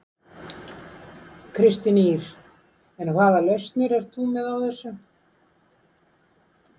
Kristín Ýr: En hvaða lausnir ert þú þá með á þessu?